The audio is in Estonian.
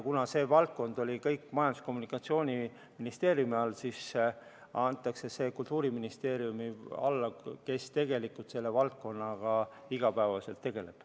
Kuna see valdkond oli kõik Majandus- ja Kommunikatsiooniministeeriumi all, siis antakse see Kultuuriministeeriumi alla, kes tegelikult selle valdkonnaga iga päev tegeleb.